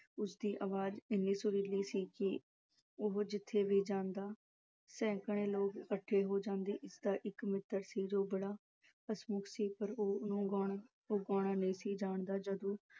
ਉਸਦੀ ਆਵਾਜ ਇੰਨੀ ਸੁਰੀਲੀ ਸੀ ਕਿ ਉਹੋ ਜਿੱਥੇ ਵੀ ਗਾਂਦਾ ਸੈਂਕੜੇ ਲੋਕ ਇਕੱਠੇ ਹੋ ਜਾਂਦੇ ਇਸਦਾ ਇੱਕ ਮਿੱਤਰ ਸੀ ਜੋ ਬੜਾ ਹੱਸਮੁੱਖ ਸੀ ਪਰ ਉਹ ਆਹ ਗਾਉਣਾ ਨਹੀਂ ਸੀ ਜਾਣਦਾ ਜਦੋਂ